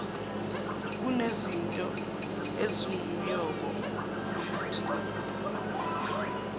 kunezinto ezingumyombo nokudingeka